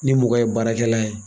Ni mɔgɔ ye baarakɛla ye